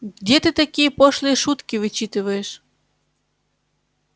ты где такие пошлые шутки вычитываешь